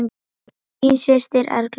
Þín systir, Erla.